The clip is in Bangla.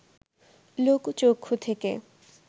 লোকচক্ষু থেকে